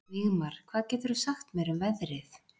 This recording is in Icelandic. Vígmar, hvað geturðu sagt mér um veðrið?